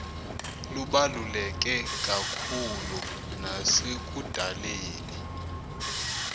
lubaluleke kakhulu nasekudaleni